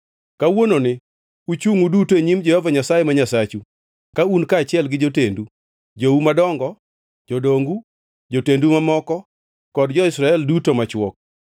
Kawuononi uchungʼ uduto e nyim Jehova Nyasaye ma Nyasachu ka un kaachiel gi jotendu, jou madongo, jodongu, jotendu mamoko, kod jo-Israel duto machwo,